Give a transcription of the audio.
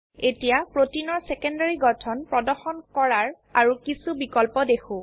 এতিয়া প্ৰোটিনৰ সেকেন্ডাৰী গঠন প্ৰদৰ্শন কৰাৰ আৰো কিছো বিকল্প দেখো